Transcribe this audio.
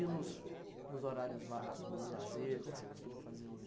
E nos nos horários vagos, no lazer, o que você costuma fazer hoje?